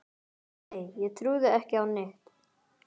Nei ég trúði ekki á neitt.